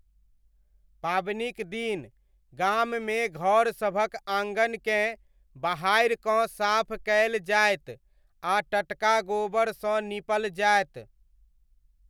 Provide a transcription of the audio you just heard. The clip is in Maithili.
पाबनिक दिन गाममे घर सभक आङनकेँ बहारिकँ साफ कयल जायत आ टटका गोबरसँ नीपल जायत।